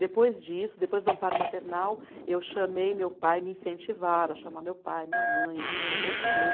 Depois disso, depois do amparo maternal, eu chamei meu pai, me incentivaram a chamar meu pai, minha mãe, a gente conversou.